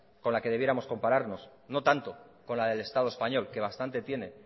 con la que debiéramos compararnos no tanto con la del estado español que bastante tiene